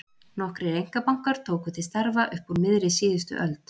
Nokkrir einkabankar tóku til starfa upp úr miðri síðustu öld.